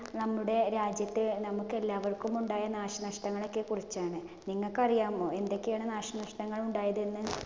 നമ്മുടെ രാജ്യത്തെ നമുക്ക് എല്ലാവര്‍ക്കും ഉണ്ടായ നാശനഷ്ടങ്ങളെയൊക്കെ കുറിച്ചാണ്. നിങ്ങക്ക് അറിയാമോ എന്തൊക്കെയാണ് നാശനഷ്ടങ്ങള്‍ ഉണ്ടായതെന്ന്.